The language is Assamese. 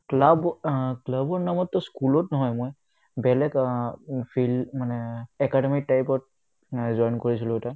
club অ club ৰ নামতটো school ত নহয় মই বেলেগ অ field মানে academy type ত join কৰিছিলো এটা